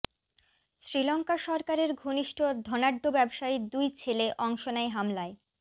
শ্রীলঙ্কা সরকারের ঘনিষ্ঠ ধনাঢ্য ব্যবসায়ীর দুই ছেলে অংশ নেয় হামলায়